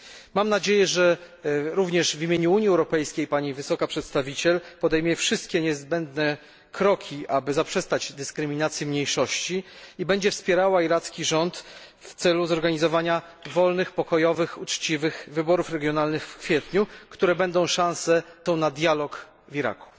Mam nadzieję, że również w imieniu Unii Europejskiej Pani Wysoka Przedstawiciel podejmie wszystkie niezbędne kroki, aby zaprzestać dyskryminacji mniejszości i będzie wspierała iracki rząd w celu zoorganizowania wolnych, pokojowych, uczciwych wyborów regionalnych w kwietniu, które będą szansą na dialog w Iraku.